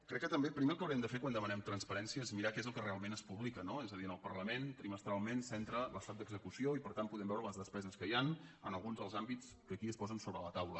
crec que també primer el que haurem de fer quan dema·nem transparència és mirar què és el que realment es publica no és a dir al parlament trimestralment s’en·tra l’estat d’execució i per tant podem veure les despe·ses que hi han en alguns dels àmbits que aquí es posen sobre la taula